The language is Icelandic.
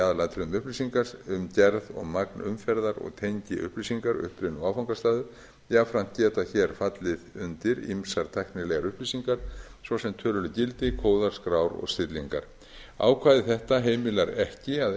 í aðalatriðum upplýsingar um gerð og magn umferðar og tengiupplýsingar uppruna og áfangastaði jafnframt geta hér fallið undir ýmsar tæknilegar upplýsingar svo sem töluleg gildi góðar skrár og stillingar ákvæði þetta heimilar ekki að